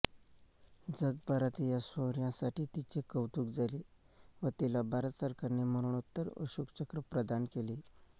जगभरात या शौर्यासाठी तिचे कौतुक झाले व तिला भारत सरकारने मरणोत्तर अशोक चक्र प्रदान केले